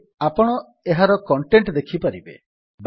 ଏବେ ଆପଣ ଏହାର କଣ୍ଟେଟ୍ ଦେଖିପାରିବେ